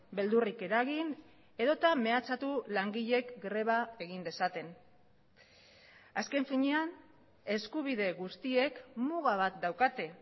beldurrik eragin edota mehatxatu langileek greba egin dezaten azken finean eskubide guztiek muga bat daukate